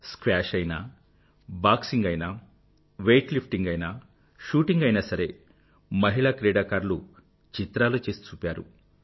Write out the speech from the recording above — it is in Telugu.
స్క్వాష్ అయినా బాక్సింగ్ అయినా వెయిట్ లిఫ్టింగ్ అయినా షూటింగ్ అయినా సరే మహిళా క్రీడాకారులు చిత్రాలు చేసి చూపారు